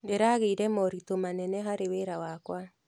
Ndĩragĩire moritũ manene harĩ wĩra wakwa.